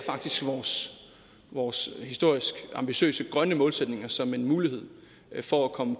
vores historisk ambitiøse grønne målsætninger som en mulighed for at komme